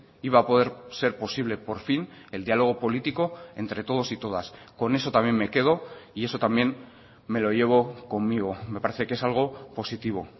iba a poder ser posible por fin el diálogo político entre todos y todas con eso también me quedo y eso también me lo llevo conmigo me parece que es algo positivo